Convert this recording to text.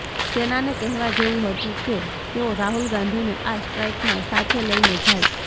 સેનાને કહેવા જેવું હતુ કે તેઓ રાહુલ ગાંધીને આ સ્ટ્રાઈકમાં સાથે લઈને જાય